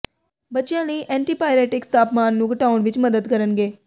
ਬੱਚਿਆਂ ਲਈ ਐਂਟੀਪਾਈਰੇਟਿਕਸ ਤਾਪਮਾਨ ਨੂੰ ਘਟਾਉਣ ਵਿਚ ਮਦਦ ਕਰਨਗੇ